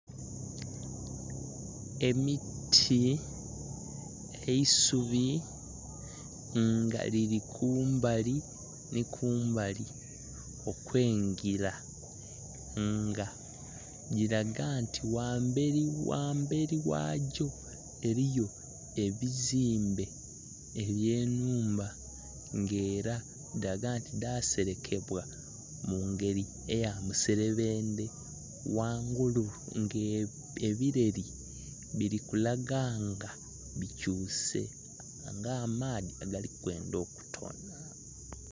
Emiti, eisubi nga lili kumbali nhi kumbali okwengira nga lilaga nti ghamberi ghamberi ghagyo eriyo ebizombe ebye nhumba nga era dhiraga nti dha serekebwa mu ngeri eya muserebendhe. Ghangulu nga ebireri bili kulaga nga bukyuse nga amaadhi agali kwendha okutonha.